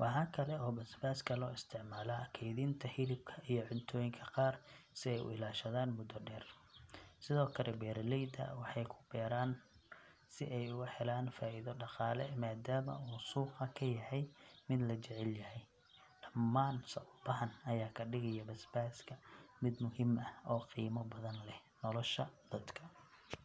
Waxaa kale oo basbaaska loo isticmaalaa kaydinta hilibka iyo cuntooyinka qaar si ay u ilaashadaan muddo dheer. Sidoo kale, beeraleyda waxay ku beeraan si ay uga helaan faa’iido dhaqaale maadaama uu suuqa ka yahay mid la jecel yahay. Dhammaan sababahan ayaa ka dhigaya basbaaska mid muhiim ah oo qiimo badan leh nolosha dadka.